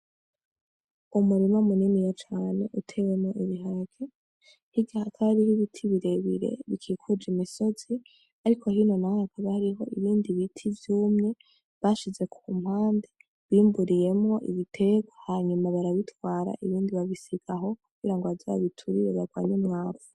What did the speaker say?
Umurima muniniya cane utewemwo ibiharage hirya hakaba hari ibiti birebire bikikuje imisozi, ariko hino naho hakaba hariho ibindi biti vyumye bashize ku mpande bimburiyemwo ibitegwa hanyuma barabitwara ibindi babisiga aho kugira ngo baze babiturire barwanye imyavu.